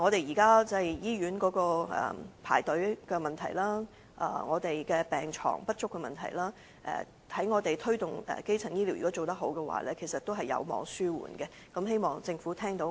如果能有效推動基層醫療，現時醫院的輪候時間問題、病床不足的問題，其實均有望紓緩，希望政府能聽取我們的建議。